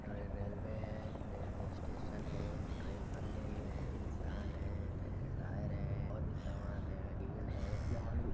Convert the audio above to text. ये रेलवे है railway station है ट्रेन बन रही है इन्सान है ट्रेन के टायर है और भी सामान है। --